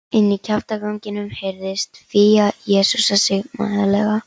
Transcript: Inní kjaftaganginum heyrðist Fía jesúsa sig mæðulega.